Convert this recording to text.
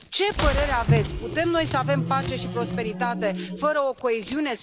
Ce părere aveți putem noi să avem pace și prosperitate, fără coeziune?